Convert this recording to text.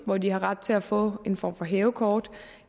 hvor de har ret til at få en form for hævekort